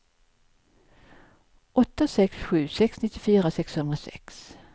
åtta sex sju sex nittiofyra sexhundrasex